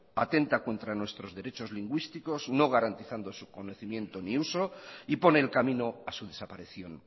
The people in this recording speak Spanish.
atenta contra nuestros derechos lingüísticos no garantizando su conocimiento ni uso y pone el camino a su desaparición